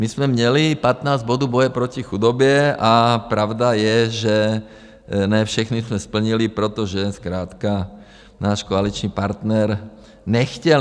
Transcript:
My jsme měli 15 bodů boje proti chudobě a pravda je, že ne všechny jsme splnili, protože zkrátka náš koaliční partner nechtěl.